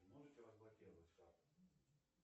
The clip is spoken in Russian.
можете разблокировать карту